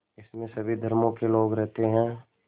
इसमें सभी धर्मों के लोग रहते हैं